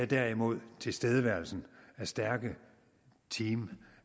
derimod tilstedeværelsen af stærke team